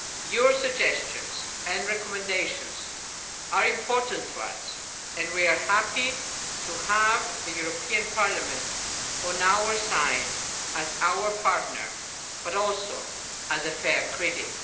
Your suggestions and recommendations are important to us and we are happy to have Parliament on our side as our partner but also as a fair critic.